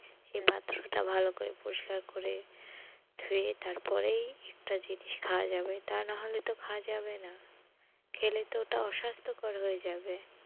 সেই পাত্রটা ভালো করে পরিষ্কার করে ধুয়ে তারপরেই একটা জিনিস খাওয়া যাবে তা নাহলে তো খাওয়া যাবে না খেলে তো ওটা অস্বাস্থকর হয়ে যাবে